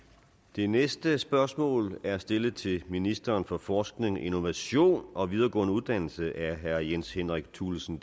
det næste spørgsmål er stillet til ministeren for forskning innovation og videregående uddannelser af herre jens henrik thulesen